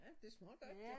Ja det smager godt jo